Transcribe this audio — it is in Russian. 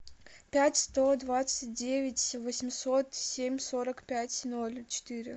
пять сто двадцать девять восемьсот семь сорок пять ноль четыре